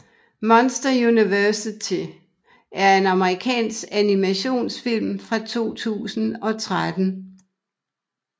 Monsters University er en amerikansk animationsfilm fra 2013